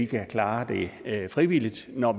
kan klare det frivilligt når